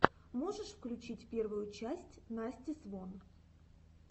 можешь включить первую часть насти свон